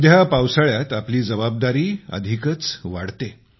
आजकाल पावसाळ्यात आपली जबाबदारी अधिकच वाढते